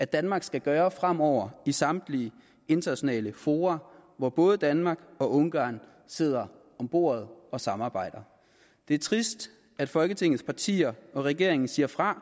danmark skal gøre fremover i samtlige internationale fora hvor både danmark og ungarn sidder om bordet og samarbejder det er trist at folketingets partier og regeringen siger fra